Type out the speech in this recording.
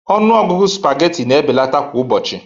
Ọnụ ọgụgụ spaghetti na-ebelata kwa ụbọchị